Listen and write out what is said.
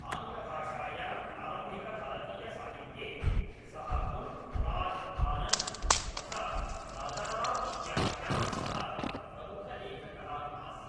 आङ्ग्लभाषायां प्रारम्भिकभारतीयसाहित्ये सः मुल्क् राज् आनन्द् तथा राजा राव् इत्याभ्यां सह प्रमुखलेखकः आसीत्।